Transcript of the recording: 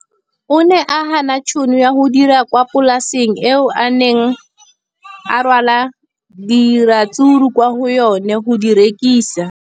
O ne a gana tšhono ya go dira kwa polaseng eo a neng rwala diratsuru kwa go yona go di rekisa.